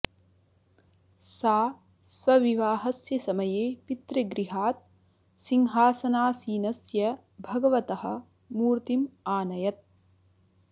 सा स्वविवाहस्य समये पितृगृहात् सिंहासनासीनस्य भगवतः मूर्तिम् आनयत्